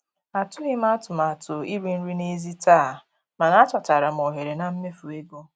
Atụghị m atụmatụ iri nri n'èzí taa, mana achọtara m ohere na mmefu ego.